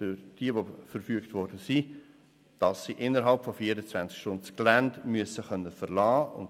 Diejenigen, welche die Verfügung ausgestellt erhalten haben, müssen das Gelände innert 24 Stunden verlassen können.